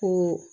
Ko